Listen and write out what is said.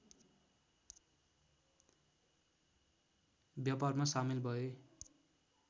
व्यापारमा सामेल भए